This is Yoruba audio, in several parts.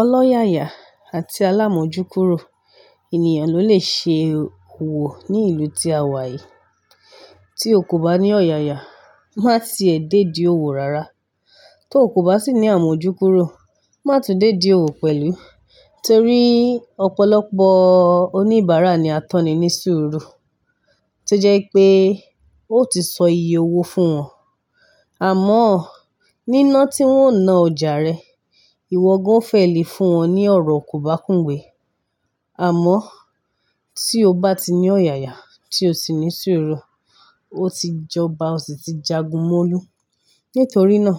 Ọlọ́yàyà àti alámọ̀júkúrò ènìyàn ló lè ṣe òwò ní ìlú tí a wà yìí. Tí o kò bá ní ọ̀yàyà, má ti ẹ dé di owó rara. Tó o kò bá sì ní àmójúkúrò, má tún dé di owó pẹ̀lú. Torí ọ̀pọ̀lọpọ̀ oníbàárà ni a tọ̀ni ní sùúrù. Tí jẹ́ pé ó ti sọ iye owó fún wọn, àmọ́ níná tí wọ́n ná ọjà rẹ, ìwọ gún fẹ̀li fún wọn ní ọ̀rọ̀ kò bá kún gbé. Àmọ́ tí o bá ti ní ọ̀yàyà tí o sì ní sùúrù, ó ti jọba o sì ti jagun mọ́lù. Nítorí náà,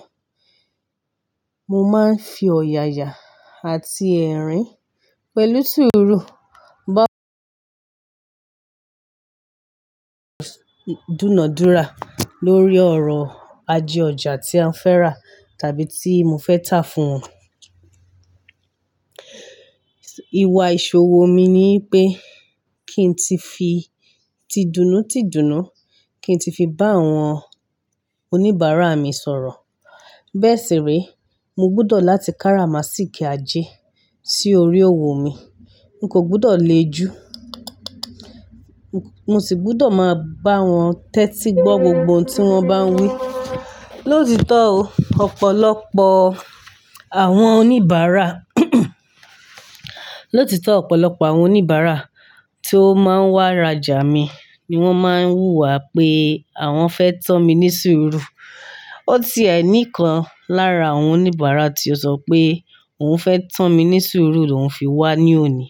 mo máa ń fi ọ̀yàyà àti ẹ̀rín pẹ̀lú sùúrù bá dúnàdúrà lórí ọ̀rọ̀ ajé ọjà tí à ń fẹ́ rà tàbí tí mo fẹ́ tà fún wọn. Ìwà ìṣòwò mi ní pé kí n ti fi, ti dùnú ti dùnún, kí n ti fi bá àwọn oníbàárà mi sọ̀rọ̀. Bẹ́ẹ̀ sì rí, mo gbọ́dọ̀ láti kára màsíkì ajé sí orí òwò mi. N kò gbọ́dọ̀ lé jù. Mo sì gbọ́dọ̀ máa bá wọn tẹ́tí gbọ́ gbogbo ohun tí wọ́n bá ń wí. Lóòtọ́ ò, ọ̀pọ̀lọpọ̀ àwọn oníbàárà lóòtọ́ ọ̀pọ̀lọpọ̀ àwọn oníbàárà tó máa ń wá rajà mi ni wọ́n máa ń wùwà pé àwọn fẹ́ tọ́ mi ní sùúrù. Ó ti ẹ̀ní kan lára àwọn oníbàárà tí ó sọ pé òun fẹ́ tọ́ mi ní sùúrù ló ń fi wá ní òní.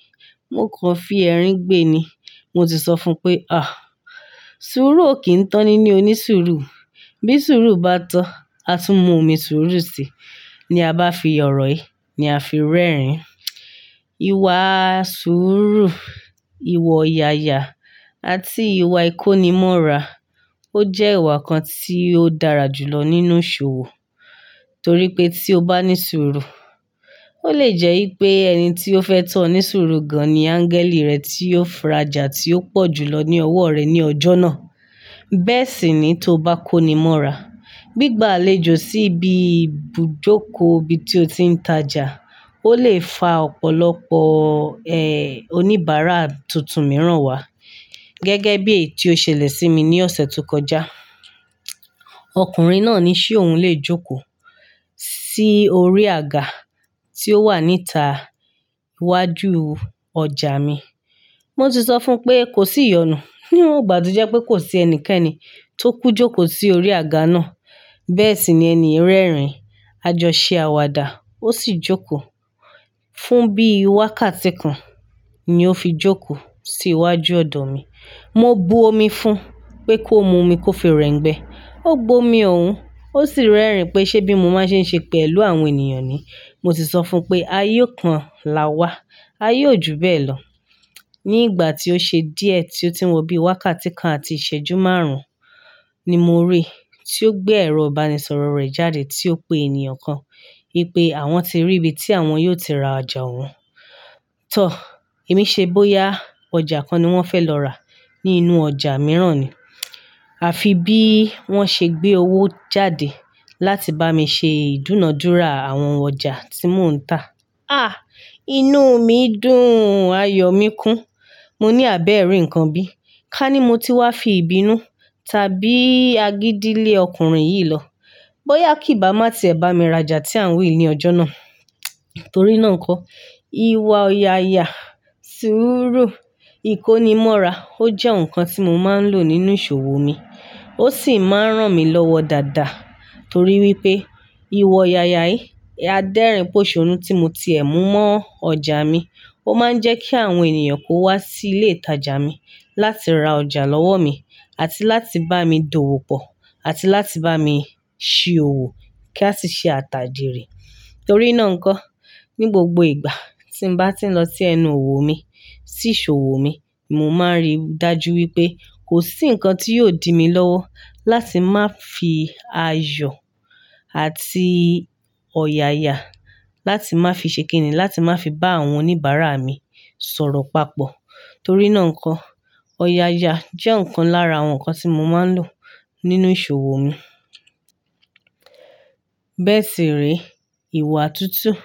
Mo kàn fi ẹ́rìn gbé ni. Mo ti sọ fún un pé, "àh! Sùúrù ò kí n tọ́ni ní onísùúrù. Bí sùúrù bá tọ́, a tún mú omi sùúrù sí. Ni a bá fi yọ̀rọ̀ èyí ni a fi rẹ́rìn." ìwà sùúrù, ìwà ọ̀yàyà àti ìwà ìkónimọ́ra. Ó jẹ́ ìwà kan tí ó dára jù lọ nínú ìṣòwò. Torí pé tí o bá ní sùúrù, ó lè jẹ́ wípé ẹni tí ó fẹ́ tọ́ ọ ní sùúrù gan-an ni áńgẹ́lì rẹ̀ tí yóò frajà tí ó pọ̀ jù lọ ní ọwọ́ rẹ̀ ní ọjọ́ náà. Bẹ́ẹ̀ sì ni tí o bá kónimọ́ra. Gbigba àlejò sí ibi ibùjókòó ibi tí o ti ń tajà, ó lè fa ọ̀pọ̀lọpọ̀ ẹ, oníbàárà tuntun mìíràn wá. Gẹ́gẹ́ bí èyí tí ó ṣẹlẹ̀ sí mi ní ọ̀sẹ̀ tó kọjá. Ọkùnrin náà ní ṣé òun lè jókòó sí orí àga tí ó wà níta iwájú ọjà mi. Mo ti sọ fún pé kò sí ìyọ̀nú. Níwọ̀n gbà tí jẹ́ pé kò sí ẹni kankan tó kú jókòó sí orí àga náà. Bẹ́ẹ̀ sì ni ẹni rẹ́rìn, àjọ̀ṣe àwàdà, ó sì jókòó. Fún bí i wákàtí kan ni ó fi jókòó sí iwájú ọ̀dọ̀ mi. Mo bu omi fún un pé kó mu omi kó fi rẹ́ǹgbẹ́. Ó gbo omi òun, ó sì rẹ́rìn pé ṣé bí mo máa ṣe ń ṣe pẹ̀lú àwọn ènìyàn ni. Mo sì sọ fún un pé a yóò pọ̀n la wa, a yóò ju bẹ́ẹ̀ lọ. Ní ìgbà tí ó ṣe díẹ̀ tí ó ti wọn bí i wákàtí kan àti ìṣẹ́jú márùn-ún ni mo ríi tí ó gbé ẹ̀rọ ìbánisọ̀rọ̀ rẹ̀ jáde tí ó pé ènìyàn kan wípé àwọn ti rí ibi tí àwọn yóò ti ra ọjà wọn. Tọ̀! Èmi ṣe bóyá ọjà kan ni wọ́n fẹ́ lọ rà ní inú ọjà mìíràn ni. À fi bí wọ́n ṣe gbé owó jáde láti bá mi ṣe ìdúnàdúrà àwọn ọjà tí mò ń tà. Àh! Inú mi dùn, ayọ̀ mi kún. Mo ní àbẹ́ẹ̀rẹ̀ nǹkan bí i. Ká ní mo ti wá fi ìbínú tàbí agídí lé ọkùnrin yìí lọ. Bóyá kì í bá má ti ẹ̀ bá mi rajà tí à ń wí ní ọjọ́ náà. Torí náà ǹkọ́, ìwà ọ̀yàyà, sùúrù, ìkónimọ́ra ó jẹ́ ǹkan tí mo máa ń lò nínú ìṣòwò mi. Ó sì máa ń ràn mí lọ́wọ́ dáadáa. Torí wípé ìwà ọ̀yàyà yìí, adẹ́rìn pòṣonnú tí mo ti ẹ̀ mú mọ́ ọjà mi, ó máa ń jẹ́ kí àwọn ènìyàn kó wá sí ilé ìtajà mi láti ra ọjà lọ́wọ́ mi àti láti bá mi dòwò pọ̀ àti láti bá mi ṣe òwò kí a sì ṣe àtàdìrì. Torí náà ǹkọ́, ní gbogbo ìgbà tí mo bá ti ń lọ sí ẹnu òwò mi, sí ìṣòwò mi, mo máa ń rí i dájú wípé kò sí ǹkan tí yóò di mí lọ́wọ́ láti má fi àyọ̀ àti ọ̀yàyà láti má fi ṣe kìíní láti má fi bá àwọn oníbàárà mi sọ̀rọ̀ papọ̀. Torí náà ǹkọ́, ọ̀yàyà jẹ́ ǹkan lára àwọn ǹkan tí mo máa ń lò nínú ìṣòwò mi. Bẹ́ẹ̀ sì rí ìwà tuntun.